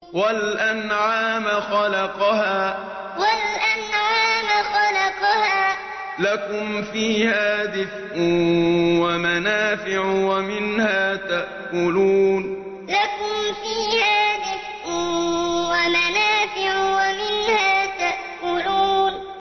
وَالْأَنْعَامَ خَلَقَهَا ۗ لَكُمْ فِيهَا دِفْءٌ وَمَنَافِعُ وَمِنْهَا تَأْكُلُونَ وَالْأَنْعَامَ خَلَقَهَا ۗ لَكُمْ فِيهَا دِفْءٌ وَمَنَافِعُ وَمِنْهَا تَأْكُلُونَ